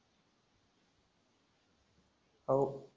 हो.